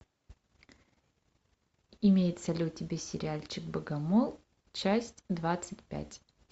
имеется ли у тебя сериальчик богомол часть двадцать пять